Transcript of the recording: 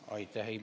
Aitäh!